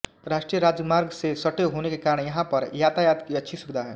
राष्ट्रीय राजमार्ग से सटे होने के कारण यहां पर यातायात की अच्छी सुविधा है